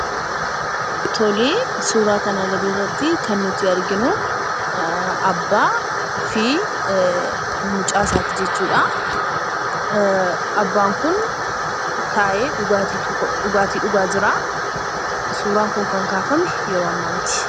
Tole, suuraa kana gadirratti kan nuyi arginu abbaa fi mucaasaati jechuudha. abbaan kun taa'ee dhugaatii tokko dhugaa jira. suuraan kun kan kaafame yeroo ammaa miti.